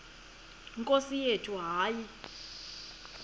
nkosi yethu hayi